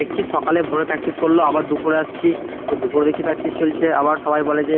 দেখছি সকাল এ ভোর এ practice করলো আবার দুপুরে আসছি তো দুপুরে দেখছি practice চলছে আবার সবাই বলে যে